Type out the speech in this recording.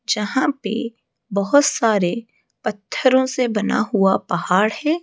जहां पे बहोत सारे पत्थरों से बना हुआ पहाड़ है।